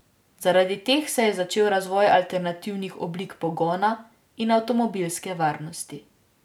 Zaradi teh se je začel razvoj alternativnih oblik pogona in avtomobilske varnosti.